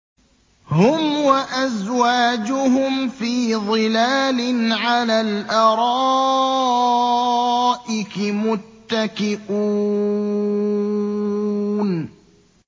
هُمْ وَأَزْوَاجُهُمْ فِي ظِلَالٍ عَلَى الْأَرَائِكِ مُتَّكِئُونَ